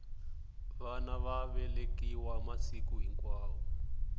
vana va velekiwa masiku hinkwawo